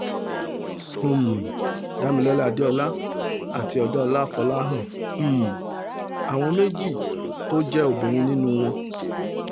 um damilola adeola àti adeola folahan um áwọn méjì tó jẹ́ obìnrin nínú wọn